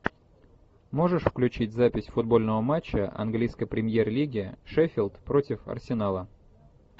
можешь включить запись футбольного матча английской премьер лиги шеффилд против арсенала